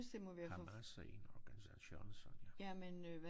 Hamas er en organisation Sonja